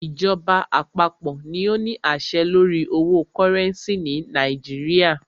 Ìjọba àpapọ̀ ní o ní àṣẹ lórí owo cúrẹ́ncì ni Nàìjíríà.